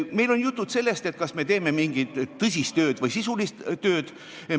Meil on olnud juttu sellest, et kas me teeme mingit tõsist tööd või sisulist tööd.